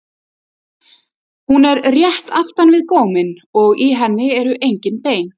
Hún er rétt aftan við góminn og í henni eru engin bein.